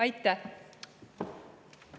Aitäh!